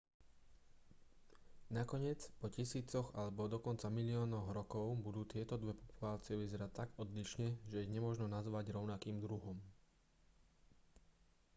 nakoniec po tisícoch alebo dokonca miliónoch rokov budú tieto dve populácie vyzerať tak odlišne že ich nemožno nazvať rovnakým druhom